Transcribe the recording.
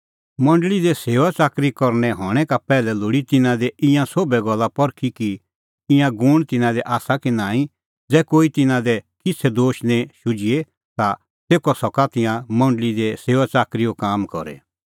मंडल़ी दी सेऊआच़ाकरी करनै आल़ै हणैं का पैहलै लोल़ी तिन्नां दी ईंयां सोभै गल्ला परखी कि ईंयां गूण तिन्नां दी आसा कि नांईं ज़ै कोही तिन्नां दी किछ़ै दोश निं शुझिए ता तेखअ सका तिंयां मंडल़ी दी सेऊआच़ाकरीओ काम करी